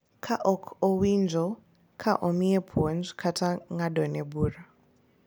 Ka ok owinjo ka omiye puonj kata ng’adone bura.